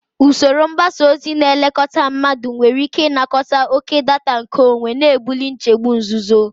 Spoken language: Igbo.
Usoro mgbasa ozi na-elekọta mmadụ nwere ike ịnakọta oke data nkeonwe, na-ebuli nchegbu nzuzo.